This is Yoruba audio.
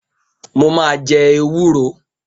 Mo ma jẹ ewúro